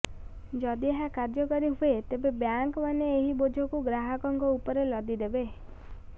ଯଦି ଏହା କାର୍ଯ୍ୟକାରୀ ହୁଏ ତେବେ ବ୍ୟାଙ୍କମାନେ ଏହି ବୋଝକୁ ଗ୍ରାହକଙ୍କ ଉପରେ ଲଦି ଦେବେ